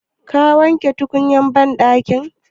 Ka wanke tukunyan banɗakin?